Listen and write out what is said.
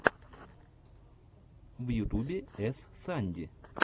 в ютубе эс санди